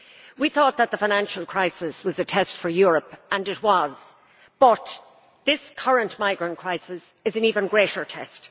We thought that the financial crisis was a test for Europe and it was, but this current migrant crisis is an even greater test.